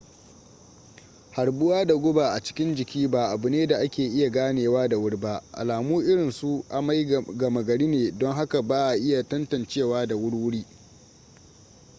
harbuwa da guba a cikin jiki ba abu ne da ake iya ganewa da wuri ba alamu irinsu amai gama gari ne don haka ba a iya tantancewa da wurwuri